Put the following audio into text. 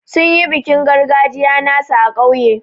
Sun yi bikin gargajiya nasu a kauye.